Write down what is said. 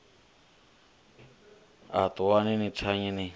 a ṱuwani ni thanye ni